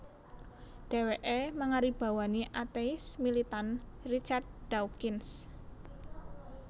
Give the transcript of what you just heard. Dhèwèké mangaribawani atéis militan Richard Dawkins